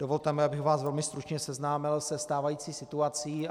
Dovolte mi, abych vás velmi stručně seznámil se stávající situací.